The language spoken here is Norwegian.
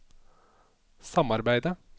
samarbeidet